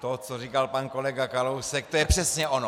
To, co říkal pan kolega Kalousek, to je přesně ono.